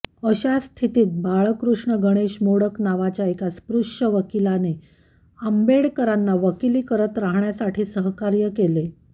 अशा स्थितीत बाळकृष्ण गणेश मोडक नावाच्या एका स्पृश्य वकीलाने आंबेडकरांना वकिली करत राहण्यासाठी सहकार्य केले